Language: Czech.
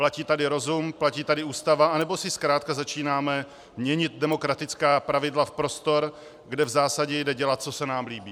Platí tady rozum, platí tady Ústava, anebo si zkrátka začínáme měnit demokratická pravidla v prostor, kde v zásadě jde dělat, co se nám líbí?